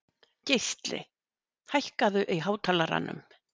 Geisli, hækkaðu í hátalaranum.